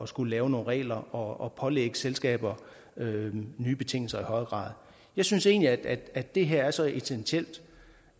skulle lave nogle regler og pålægge selskaber nye betingelser jeg synes egentlig at at det her er så essentielt